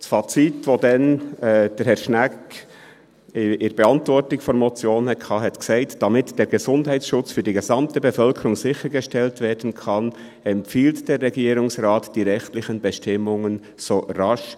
Das Fazit, welches Herr Schnegg damals in der Beantwortung der Motion zog, besagte: «Damit der Gesundheitsschutz für die gesamte Bevölkerung sichergestellt werden kann, empfiehlt der Regierungsrat die rechtlichen Bestimmungen [...